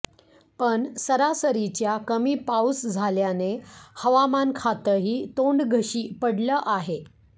पण सरासरीच्या कमी पाऊस झाल्याने हवामान खातंही तोंडघशी पडलं आहे